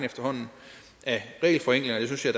det synes jeg